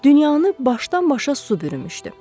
Dünyanı başdan-başa su bürümüşdü.